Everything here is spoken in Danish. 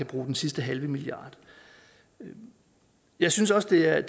bruge den sidste halve milliard jeg synes også det er